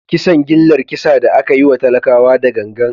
Kisan gillar kisa da aka yi wa talakawa da gangan.